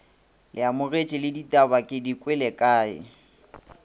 leamogetše le ditabake dikwele kea